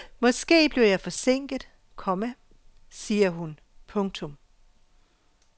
Måske bliver jeg forsinket, komma siger hun. punktum